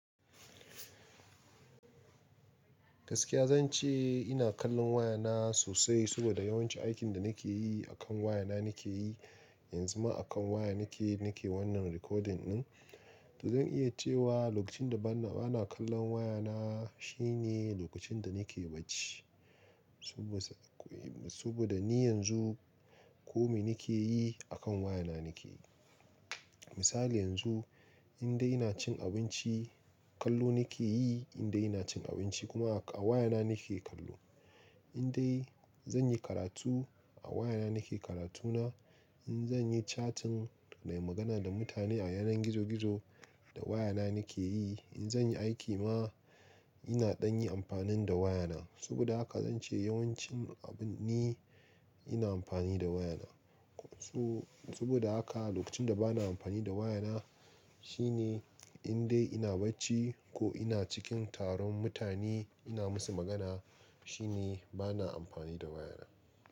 Gaskiya zan ce ina kallon wayana sosai saboda yawanci aikin da nake yi akan wayana nake yi. Yanzu ma akan waya nake, nake wannan recording ɗin. To zan iya cewa lokacin da bana, bana kallon wayana shine lokacin da nake bacci. Saboda, saboda ni yanzu ko me nake yi akan wayana nake yi. Misali yanzu in dai ina cin abinci, kallo nake yi, in dai ina cin abinci kuma a wayana nake kallo. In dai zan yi karatu a wayana nake karatu na. In zan yi chatting nai magana da mutane a yanar gizo-gizo, da wayana nake yi. In zan yi aiki ma ina ɗan yi amfani da wayana. Saboda haka zan ce yawancin abin ne ina amfani da wayana. Kun tu-- saboda haka lokacin da bana amfani da wayana shine in dai ina bacci ko ina cikin taron mutane ina musu magana shine bana amfani da wayana.